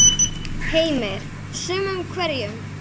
Heimir: Sumum hverjum?